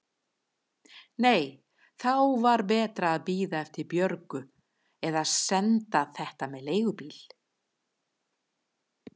Nei, þá var betra að bíða eftir Björgu eða senda þetta með leigubíl.